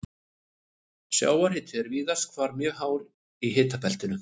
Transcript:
Sjávarhiti er víðast hvar mjög hár í hitabeltinu.